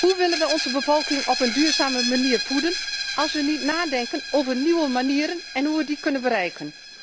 Hoe willen we onze bevolking op een duurzame manier voeden als we niet nadenken over nieuwe manieren en hoe we die kunnen bereiken?